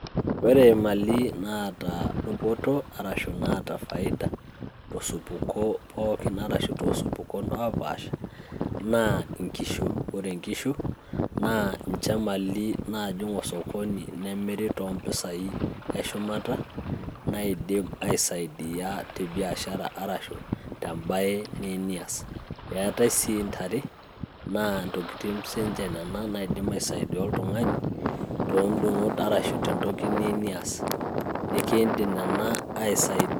Ore imali naata dupoto arashu inaata faida tosupuko pookin arashu toosupukon oopaasaha naa inkishu, ore inkishu naa ninche imali naajing' osokoni nemiri toompisai eshumata naidim aisaidia te biashara arashu tembaye niyieu niaas, eetae sii ntare naa intokiting siinche nena naidim aisaidia oltung'ani tentoki niyieu nias.